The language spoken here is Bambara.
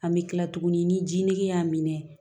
An bɛ kila tuguni ni ji ni y'a minɛ